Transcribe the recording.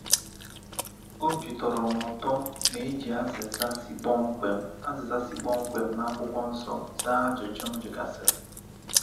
Obi tọrọ m ụtọ na e ji azịza si kpọmkwem azịza si kpọmkwem na akwụkwọ nsọ zaa ajụjụ m jụgasiri.